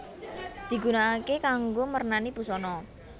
Digunakaké kanggo mernani busana